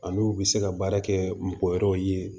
Ani u bɛ se ka baara kɛ mɔgɔ wɛrɛw ye